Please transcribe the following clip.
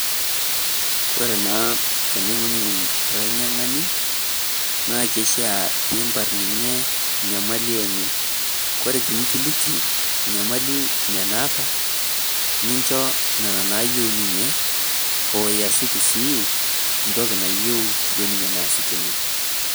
Ore naa tening'uny'uny lanyiankani, naa kishaa piimbar ninye nyamali enye. Ore tenikiliki nyamali nye naata ninjo nena naayiu ninye, oo yasieki sii ntoki nayiu duo nye neasikini.